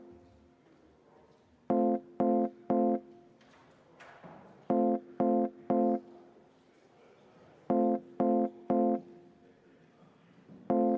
Palun võtta seisukoht ja hääletada!